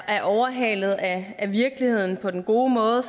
overhalet af virkeligheden på den gode måde